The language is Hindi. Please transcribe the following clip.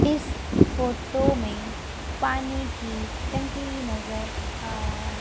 इस फोटो में पानी की टंकी नजर आ र--